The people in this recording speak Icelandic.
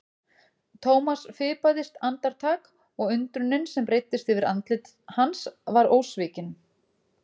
Thomas fipaðist andartak og undrunin sem breiddist yfir andlit hans var ósvikin.